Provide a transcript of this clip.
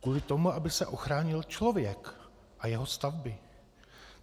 Kvůli tomu, aby se ochránil člověk a jeho stavby.